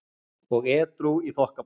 og edrú í þokkabót.